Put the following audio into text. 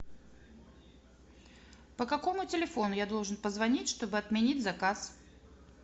по какому телефону я должен позвонить чтобы отменить заказ